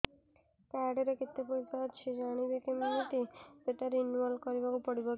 card ରେ କେତେ ପଇସା ଅଛି ଜାଣିବି କିମିତି ସେଟା ରିନୁଆଲ କରିବାକୁ ପଡ଼ିବ କି